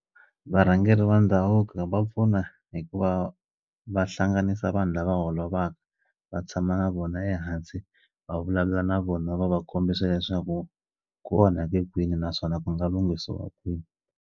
Varhangeri va ndhavuko va pfuna hi ku va va hlanganisa vanhu lava holovisaka va tshama na vona ehansi va vulavula na vona va va kombisa leswaku ku onhake kwini naswona ku nga lunghisiwa kwini.